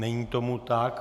Není tomu tak.